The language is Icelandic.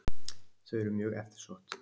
Þau eru mjög eftirsótt.